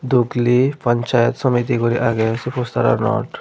dukli panchyat samiti guri age se posteranot.